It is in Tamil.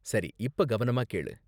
சரி, இப்ப கவனமா கேளு!